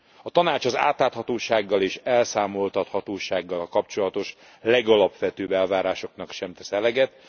A Tanács az átláthatósággal és elszámoltathatósággal kapcsolatos legalapvetőbb elvárásoknak sem tesz eleget.